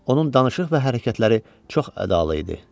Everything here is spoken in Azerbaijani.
Onun danışıq və hərəkətləri çox ədalı idi.